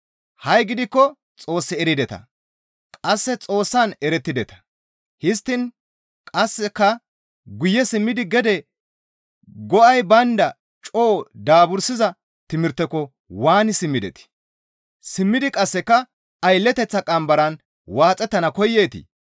Ha7i gidikko Xoos erideta; qasseka Xoossan erettideta; histtiin qasseka guye simmidi gede go7ay baynda coo daabursiza timirteko waani simmidetii? Simmidi qasseka aylleteththa qambaran waaxettana koyeetii?